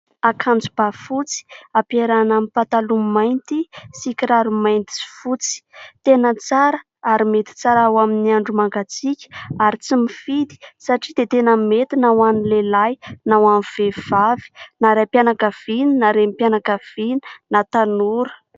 Akanjo bà fotsy, ampiarahana amin'ny pataloha mainty sy kiraro mainty sy fotsy. Tena tsara ary mety tsara ho amin'ny andro mangatsiaka ary tsy mifidy satria dia tena mety na ho an'ny lehilahy na ho an'ny vehivavy, na raim-pianakaviana na renim-pianakaviana, na tanora.